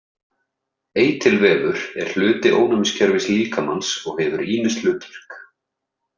Eitilvefur er hluti ónæmiskerfis líkamans og hefur ýmis hlutverk.